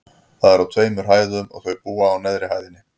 Það er á tveimur hæðum, og þau búa á neðri hæðinni.